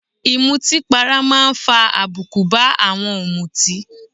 Ìmutípara máa ń fa àbùkù bá àwọn ọ̀mùtì